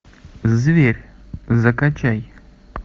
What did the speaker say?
зверь закачай